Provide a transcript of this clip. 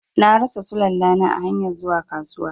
Na rasa Sulalla na a hanyar zuwa kasuwa.